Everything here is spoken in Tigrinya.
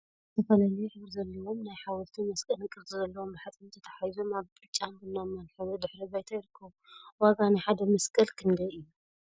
ዝተፈላለየ ሕብሪ ዘለዎም ናይ ሓወልቲን መስቀልን ቅርፂ ዘለዎም ብሓፂን ተታሓሒዞም አብ ብጫን ቡናማን ሕብሪ ድሕረ ባይታ ይርከቡ፡፡ ዋጋ ናይ ሓደ መስቀል ክንደይ እዩ?